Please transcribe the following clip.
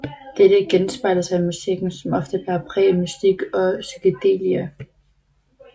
Dette genspejler sig i musikken som ofte bærer præg af mystik og psykedelia